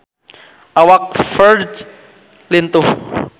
Awak Ferdge lintuh